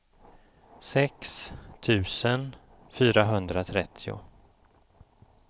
sex tusen fyrahundratrettio